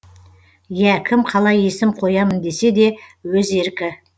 ия кім қалай есім қоямын десе де өз еркі